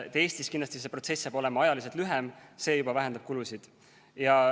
Eestis tuleb see protsess kindlasti ajaliselt lühem, see ise juba vähendab kulusid.